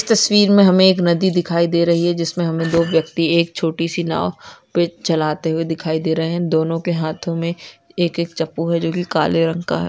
तस्वीर मे हमे एक नदी दिखाई दे रही है जिसमे हमे दो व्यक्ति एक छोटीसी नाव पे चलाते हुए दिखाई दे रहे है दोनों के हाथों मे एक-एक चप्पू है जो की काले रंगो का है।